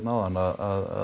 áðan að